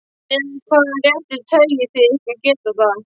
Með hvaða rétti teljið þið ykkur geta það?